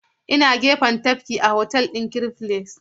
Ina gefen tafkin a otal ɗin Chris Ray.